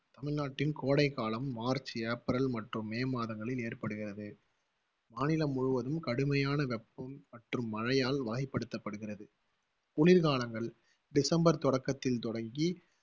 தமிழ்நாட்டின் கோடைக்காலம், March, April மற்றும் மே மாதங்களில் ஏற்படுகிறது. மாநிலம் முழுவதும் கடுமையான வெப்பம் மற்றும் மழையால் வகைப்படுத்தப்படுகிறது. குளிர்காலங்கள் டிசம்பர் தொடக்கத்தில் தொடங்கி